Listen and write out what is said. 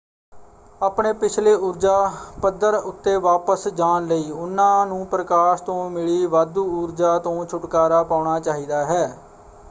ਆਪਣੇ ਪਿਛਲੇ ਊਰਜਾ ਪੱਧਰ ਉੱਤੇ ਵਾਪਸ ਜਾਣ ਲਈ ਉਨ੍ਹਾਂ ਨੂੰ ਪ੍ਰਕਾਸ਼ ਤੋਂ ਮਿਲੀ ਵਾਧੂ ਊਰਜਾ ਤੋਂ ਛੁਟਕਾਰਾ ਪਾਉਣਾ ਚਾਹੀਦਾ ਹੈ।